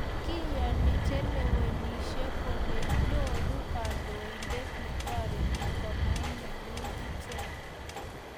Kiyoni chelewenishei kole nyoru kandoindet netoriti komainyalil ichek